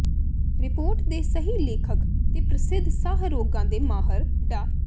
report ਦੇ ਸਹਿ ਲੇਖਕ ਤੇ ਪ੍ਰਸਿੱਧ ਸਾਹ ਰੋਗਾਂ ਦੇ ਮਾਹਰ ਡਾ